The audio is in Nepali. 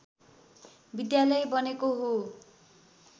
विद्यालय बनेको हो